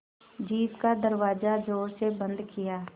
jeep का दरवाज़ा ज़ोर से बंद किया